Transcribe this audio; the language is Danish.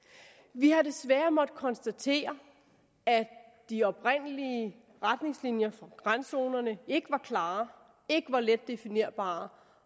vi har desværre måttet konstatere at de oprindelige retningslinjer for randzonerne ikke var klare ikke var let definerbare